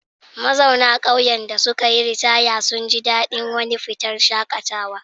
Mazauna ƙauyen da suka yi ritaya sun ji daɗin wani fitar shaƙatawa.